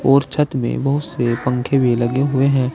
और छत में बहोत से पंखे भी लगे हुए हैं।